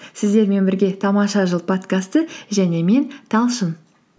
сіздермен бірге тамаша жыл подкасты және мен талшын